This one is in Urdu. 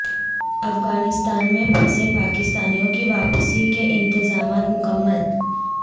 افغانستان میں پھنسے پاکستانیوں کی واپسی کے انتظامات مکمل